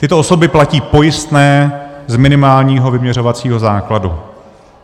Tyto osoby platí pojistné z minimálního vyměřovacího základu.